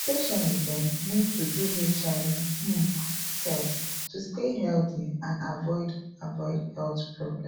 patients dem need to do hiv um test to stay healthy and avoid avoid health problem